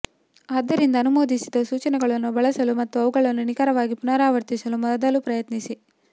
ಆದ್ದರಿಂದ ಅನುಮೋದಿಸಿದ ಸೂಚನೆಗಳನ್ನು ಬಳಸಲು ಮತ್ತು ಅವುಗಳನ್ನು ನಿಖರವಾಗಿ ಪುನರಾವರ್ತಿಸಲು ಮೊದಲ ಪ್ರಯತ್ನಿಸಿ